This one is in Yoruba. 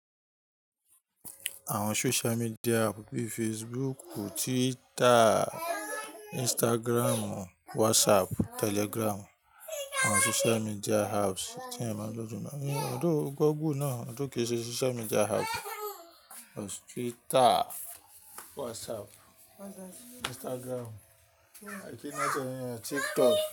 Àwọn social media app bíi Facebook, Twitter, Instagram, WhatsApp, Telegram àwọn social media apps tí èèyàn máa ń lò jùlọ. Although, google náà, kí ń ṣe social media app. Twitter, WhatsApp, Instagram, TikTok.